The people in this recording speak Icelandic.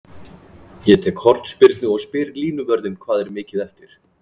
Ég tek hornspyrnu og spyr línuvörðinn hvað er mikið eftir?